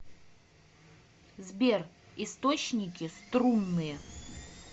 сбер источники струнные